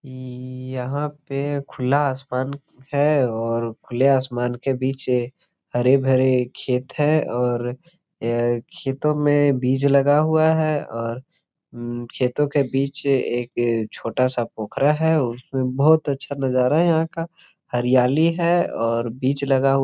EE इ यहां पे खुला आसमान है और खुले आसमान के बीच हरे भरे खेत है और यह खेतों में बीज लगा हुआ है और हम्म खेतो के बीच एक छोटा सा पोखरा है उसमे बहुत अच्छा नज़ारा है यहां का हरियाली है और बीज लगा हुआ है।